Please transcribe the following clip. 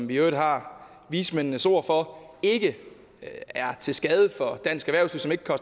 vi i øvrigt har vismændenes ord for ikke er til skade for dansk erhvervsliv og